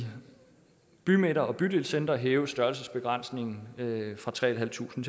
bymidter og bydelscentre hæves størrelsesbegrænsningen fra tre tusind